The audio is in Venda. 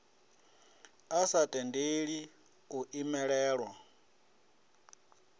a sa tendeli u imelelwa